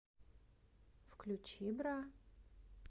включи бра